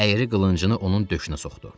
Əyri qılıncını onun döşünə soxdu.